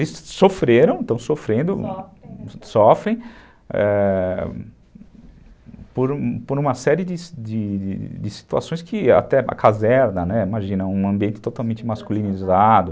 eles sofreram, estão sofrendo, com, sofrem ãh, por uma série de situações que até a caserna, imagina, um ambiente totalmente masculinizado.